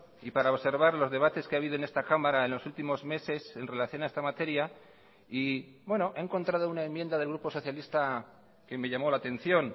y para observar los debates que ha habido en esta cámara en los últimos meses en relación a esta materia y he encontrado una enmienda del grupo socialista que me llamó la atención